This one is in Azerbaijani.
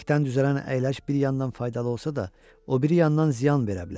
Kürəkdən düzələn əyləc bir yandan faydalı olsa da, o biri yandan ziyan verə bilər.